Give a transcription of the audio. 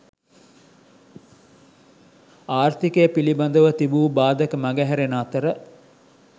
ආර්ථිකය පිළිබඳව තිබූ බාධක මග හැරෙන අතර